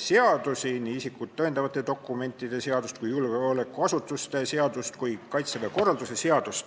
seadusi: isikut tõendavate dokumentide seadust, julgeolekuasutuste seadust ja ka Kaitseväe korralduse seadust.